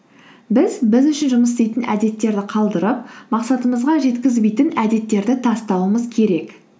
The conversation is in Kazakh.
біз біз үшін жұмыс істейтін әдеттерді қалдырып мақсатымызға жеткізбейтін әдеттерді тастауымыз керек